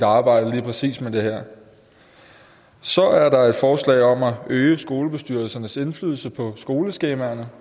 arbejde lige præcis med det her så er der et forslag om at øge skolebestyrelsernes indflydelse på skoleskemaerne